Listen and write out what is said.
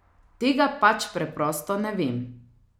Tega pač preprosto ne vem.